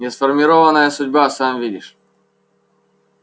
несформированная судьба сам видишь